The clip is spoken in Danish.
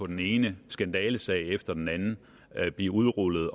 den ene skandalesag efter den anden blive udrullet